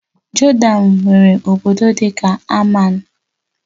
Jodan nwere obodo dị ka Amman